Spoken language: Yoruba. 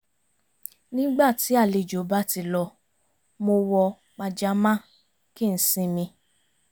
nígbà tí àlejò bá ti lọ mo wọ pajamá kí n sinmi